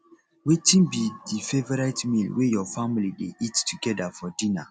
wetin be di favorite meal wey your family dey eat together for dinner